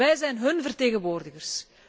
Wij zijn hun vertegenwoordigers.